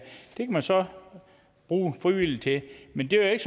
man så bruge frivillige til men det er